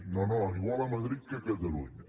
no no igual a madrid que a catalunya